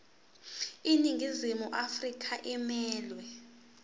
iningizimu afrika emelwe